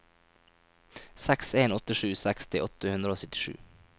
seks en åtte sju seksti åtte hundre og syttisju